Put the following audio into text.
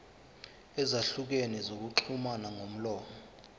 ezahlukene zokuxhumana ngomlomo